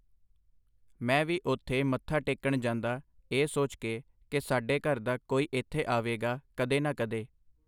ਮੈਂ ਵੀ ਉੱਥੇ ਮੱਥਾ ਟੇਕਣ ਜਾਂਦਾ ਇਹ ਸੋਚ ਕੇ ਕਿ ਸਾਡੇ ਘਰ ਦਾ ਕੋਈ ਇੱਥੇ ਆਵੇਗਾ ਕਦੇ ਨਾ ਕਦੇ.